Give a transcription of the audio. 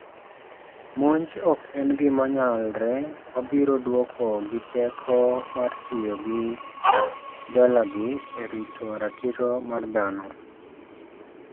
Monj ok en gima nyalre wabiro dwoko gi teko mar tiyo gi dolagi e rito ratiro mar dhano.